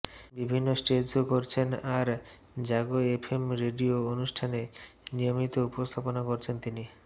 বিভিন্ন stage show করছেন আর জাগো এফ এম রেডিও অনুষ্ঠানে নিয়মিত উপস্থাপনা করছেন তিনি